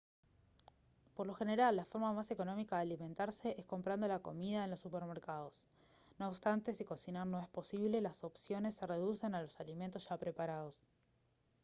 por lo general la forma más económica de alimentarse es comprando la comida en los supermercados no obstante si cocinar no es posible las opciones se reducen a los alimentos ya preparados